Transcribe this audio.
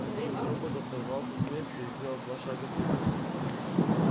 один из роботов сорвался с места и сделал два шага вперёд